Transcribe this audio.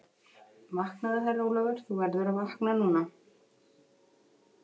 Vaknaðu, Herra Jón Ólafur, þú verður að vakna núna.